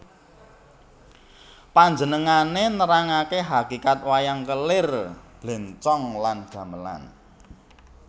Panjenengané nerangaké hakikat wayang kelir blencong lan gamelan